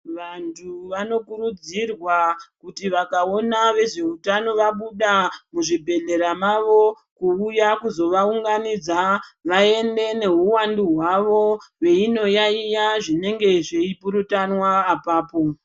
Vantu vanokurudzirwa kuti vakaona vezveutano vabuda muzvibhedhlera mavo kuvuya kuzovaunganidza vaende nowuwandu hwavo veyinoyayiya zvinenge zveyipurutana apapo.